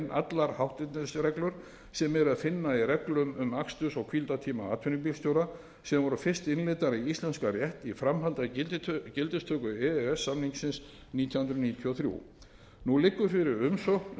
allar hátternisreglur sem er að finna í reglum um aksturs og hvíldartíma atvinnubílstjóra sem voru fyrst innleiddar í íslenskan rétt í framhaldi af gildistöku e e s samningsins nítján hundruð níutíu og þrjú nú liggur fyrir umsókn um